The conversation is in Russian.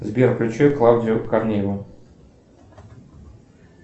сбер включи клавдию корнееву